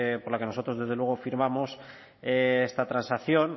por la que nosotros desde luego firmamos esta transacción